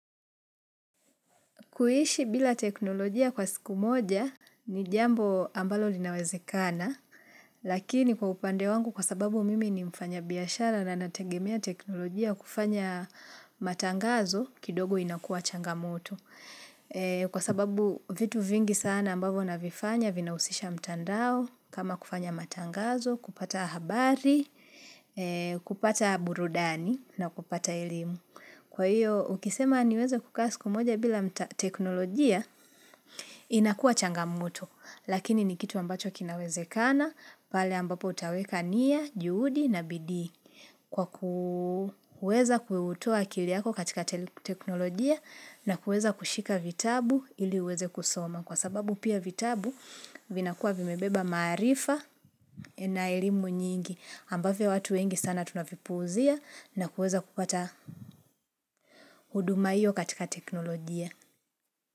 Kuishi bila teknolojia kwa siku moja ni jambo ambalo linawezekana. Lakini kwa upande wangu kwa sababu mimi ni mfanyabiashara na nategemea teknolojia kufanya matangazo kidogo inakua changamoto. Kwa sababu vitu vingi sana ambavyo navifanya vinahusisha mtandao kama kufanya matangazo, kupata habari, kupata burudani na kupata elimu. Kwa hiyo, ukisema niweze kukaa siku moja bila mta teknolojia, inakua changamoto. Lakini ni kitu ambacho kinawezekana, pale ambapo utaweka nia, juhudi na bidii. Kwa kuweza kutoa akili yako katika teknolojia na kuweza kushika vitabu ili uweze kusoma. Kwa sababu pia vitabu vinakuwa vimebeba maarifa na elimu nyingi. Ambavyo watu wengi sana tunavipuuzia na kuweza kupata huduma hio katika teknolojia.